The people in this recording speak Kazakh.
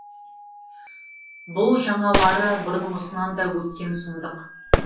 бұл жаңалары бұрынғысынан да өткен сұмдық